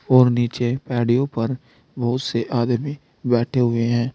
और नीचे पेडिओ पर बहुत से आदमी बैठे हुए हैं।